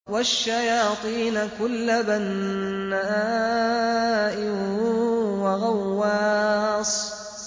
وَالشَّيَاطِينَ كُلَّ بَنَّاءٍ وَغَوَّاصٍ